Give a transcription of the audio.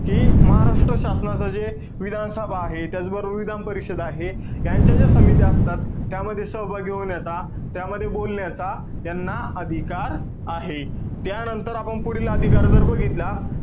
कि महाराष्ट्र शासनाचं जे विधानसभा आहे. त्याचबरोबर विधानपरिषद आहे. यांच्या ज्या समित्या असतात, त्यामध्ये सहभागी होण्याचा, त्यामध्ये बोलण्याचा, त्यांना अधिकार आहे. त्यानंतर आपण पुढील अधिकार जर बघितला,